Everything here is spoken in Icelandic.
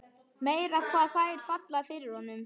Meira hvað þær falla fyrir honum!